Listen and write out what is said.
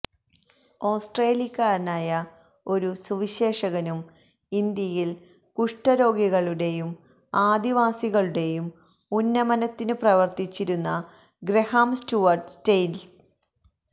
ഓസ്ട്രേലിയക്കാരനായ ഒരു സുവിശേഷകനും ഇന്ത്യയിൽ കുഷ്ഠരോഗികളുടെയും ആദിവാസികളുടെയും ഉന്നമനത്തിനു പ്രവർത്തിച്ചിരുന്നഗ്രഹാം സ്റ്റുവർട്ട് സ്റ്റെയിൻസ്